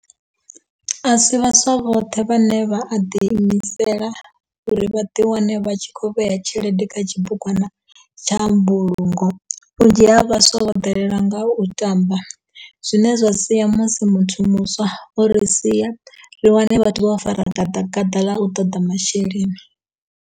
Asi vhaswa vhoṱhe vhane vha a ḓi imisela uri vhaḓi wane vha tshi kho vhea tshelede kha tshibugwana tsha mbulungo vhunzhi ha vhaswa vho ḓalelwa nga u tamba zwine zwa sia musi muthu muswa o ri sia ri wane vhathu vho fara gaḓa gaḓa ḽa u ṱoḓa masheleni.